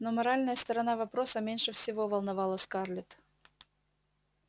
но моральная сторона вопроса меньше всего волновала скарлетт